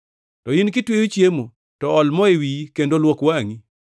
To in, kitweyo chiemo to ol mo e wiyi kendo luok wangʼi,